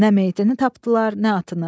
Nə meyitini tapdılar, nə atını.